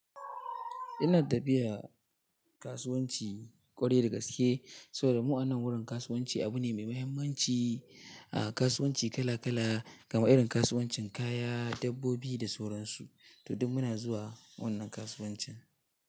Ina tafiya kasuwanci ƙwarai da gaske, saboda mu anan wurin kasuwanci abu ne mai mahimmanci. A kasuwanci kala kala, gama irin kasuwancin kaya, dabbobi da sauransu. To duk muna zuwa wannan kasuwancin.